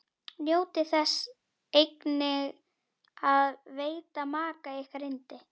Njótið þess einnig að veita maka ykkar yndi.